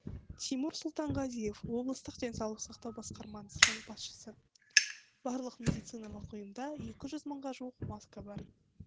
тимур сұлтанғазиев облыстық денсаулық сақтау басқармасының басшысы барлық медициналық ұйымда екі жүз мыңға жуық маска бар